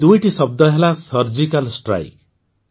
ଏହି ଦୁଇଟି ଶବ୍ଦ ହେଲା ସର୍ଜିକାଲ୍ ଷ୍ଟ୍ରାଇକ୍